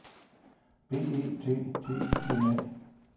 B E T T I N A